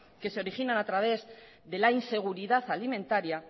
que se originan a través de la inseguridad alimentaria